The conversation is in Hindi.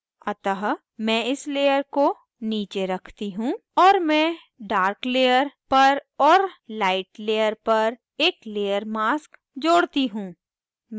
अतः मैं इस layer को नीचे रखती हूँ और मैं dark layer पर और light layer पर एक layer mask जोड़ती हूँ